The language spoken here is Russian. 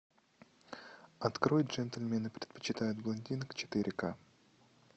открой джентльмены предпочитают блондинок четыре ка